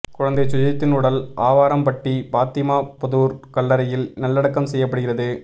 குழந்தை சுஜித்தின் உடல் ஆவாரம்பட்டி பாத்திமா புதூர் கல்லறையில் நல்லடக்கம் செய்யப்படுகிறது